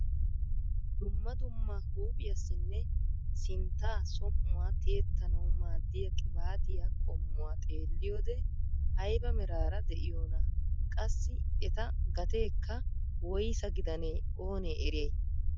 Dumma dumma huuphphiyasinne sintta som"uwaa tiyettanawu maaddiyaa qibatiyaa qommuwaa xeelliyoode ayba meraara de'iyoona? qassi eta gateekka woyssa gidanee oonee eriyay?